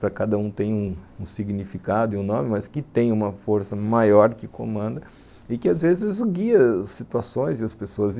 para cada um tem um significado e um nome, mas que tem uma força maior que comanda e que às vezes guia as situações e as pessoas.